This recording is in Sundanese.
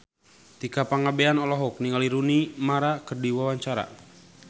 Tika Pangabean olohok ningali Rooney Mara keur diwawancara